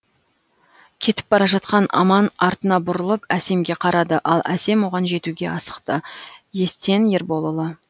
кетіп бара жатқан аман артына бұрылып әсемге қарады ал әсем оған жетуге асықты естен ерболұлы